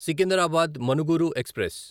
Secunderabad Manuguru express